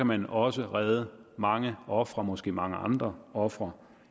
man også redde mange ofre måske mange andre ofre